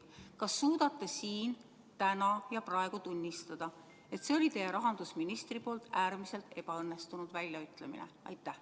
Kas suudate siin, täna ja praegu tunnistada, et see oli teie rahandusministri poolt äärmiselt ebaõnnestunud väljaütlemine?